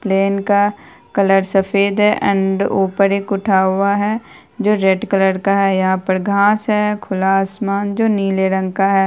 Plane का colour सफेद है एण्ड उप्पर एक उठा हुआ है जो रेड कलर का है यहाँ पर घाँस है खुला आसमान जो नीले रंग का है।